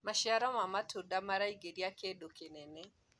maciaro ma matunda maraingiria kĩndũ kĩnene